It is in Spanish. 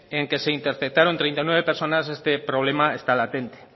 en el que se interceptaron treinta y nueve personas este problema está latente